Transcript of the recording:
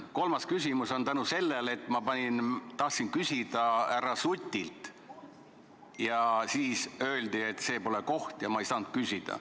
Kolmas küsimus on mul tänu sellele, et ma tahtsin küsida härra Sutilt, aga siis öeldi, et see pole koht, ja ma ei saanud küsida.